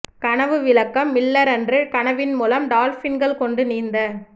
கனவு விளக்கம் மில்லர் அன்று கனவின் மூலம் டால்பின்கள் கொண்டு நீந்த